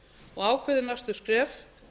og ákveði næstu skref